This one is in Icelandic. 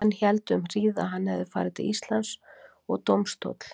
Menn héldu um hríð, að hann hefði farið til Íslands, og dómstóll